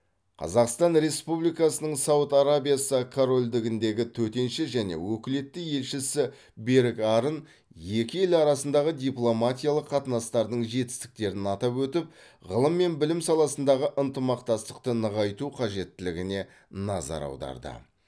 қазақстан республикасының сауд арабиясы корольдігіндегі төтенше және өкілетті елшісі берік арын екі ел арасындағы дипломатиялық қатынастардың жетістіктерін атап өтіп ғылым мен білім саласындағы ынтымақтастықты нығайту қажеттілігіне назар аударды